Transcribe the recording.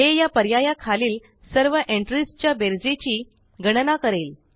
हे या पर्याया खालील सर्व एंट्रीस च्या बेरजेची गणना करेल